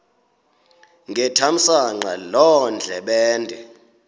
ngethamsanqa loo ndlebende